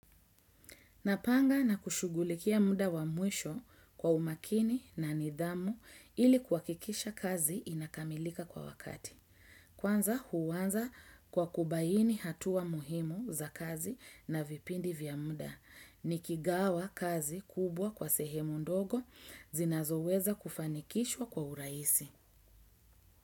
Napanga na kushugulikia muda wa mwisho kwa umakini na nidhamu ili kuhakikisha kazi inakamilika kwa wakati. Kwanza huanza kwa kubaini hatua muhimu za kazi na vipindi vya muda, nikigawa kazi kubwa kwa sehemu ndogo, zinazoweza kufanikishwa kwa urahisi.